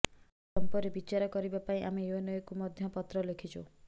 ଏହି ସର୍ମ୍ପରେ ବିଚାର କରିବା ପାଇଁ ଆମେ ୟୁଏନଓ କୁ ମଧ୍ୟ ପତ୍ର ଲେଖିଛୁ